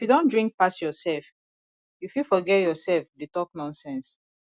if you don drink pass yourself you fit forget yourself dey talk nonsense